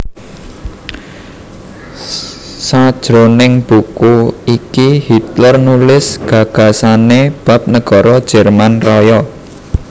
Sajroning buku iki Hitler nulis gagasané bab negara Jerman Raya